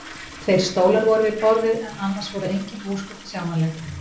Tveir stólar voru við borðið en annars voru engin húsgögn sjáanleg.